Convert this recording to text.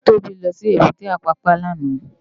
Tobi lò sí ébùté Apàpá làná